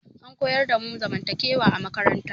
An koyar damu zamantakewa a makaranta